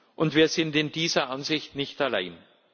Und wir sind mit dieser Ansicht nicht allein.